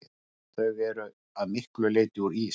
Þau eru að miklu leyti úr ís.